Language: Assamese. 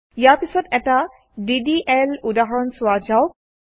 ইয়াৰ পিছত এটা ডিডিএল উদাহৰণ চোৱা যাওক